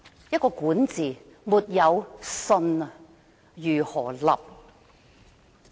如果管治沒有"信"，則如何"立"？